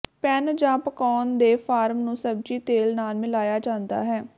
PAN ਜਾਂ ਪਕਾਉਣਾ ਦੇ ਫਾਰਮ ਨੂੰ ਸਬਜੀ ਤੇਲ ਨਾਲ ਮਿਲਾਇਆ ਜਾਂਦਾ ਹੈ